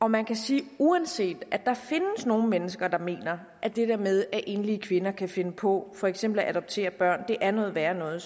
man kan sige at uanset at der findes nogle mennesker der mener at det der med at enlige kvinder kan finde på for eksempel at adoptere børn er noget værre noget